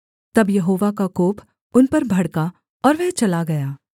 तब यहोवा का कोप उन पर भड़का और वह चला गया